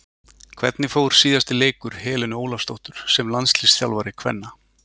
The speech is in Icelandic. Hvernig fór síðasti leikur Helenu Ólafsdóttur sem landsliðsþjálfari kvenna?